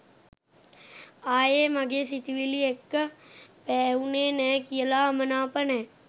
ආයේ මගේ සිතිවිලි එක්ක පෑහුනේ නෑ කියල අමනාප නෑ.